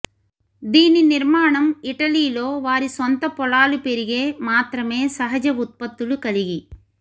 దీని నిర్మాణం ఇటలీలో వారి సొంత పొలాలు పెరిగే మాత్రమే సహజ ఉత్పత్తులు కలిగి